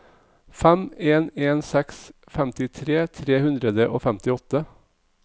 fem en en seks femtitre tre hundre og femtiåtte